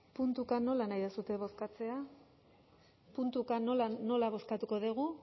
puntuka nola nahi duzue bozkatzea puntuka nola bozkatuko dugu